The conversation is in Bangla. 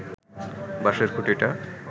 বাঁশের খুঁটিটা